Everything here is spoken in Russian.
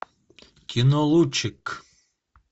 кино лучик